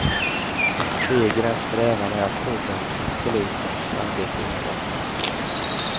Ett steg i den strävan är att tullens och polisens arbete utvecklas.